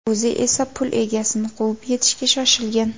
O‘zi esa pul egasini quvib yetishga shoshilgan.